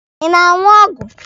Ị na-aṅụ ọgwụ.